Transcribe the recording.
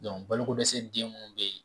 balo ko dɛsɛ den munnu be yen.